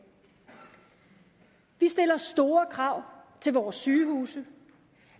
vi stiller store krav til vores sygehuse